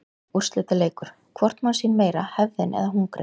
Úrslitaleikur: Hvort má sín meira hefðin eða hungrið?